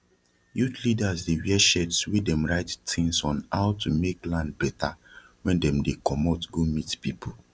youth leaders dey wear shirts wey dem write tins on how to make land beta wen dem dey comot go meet people